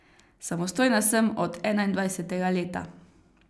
Samostojna sem od enaindvajsetega leta.